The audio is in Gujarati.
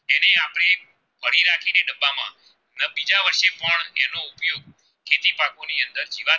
ને જીવા ની અંદર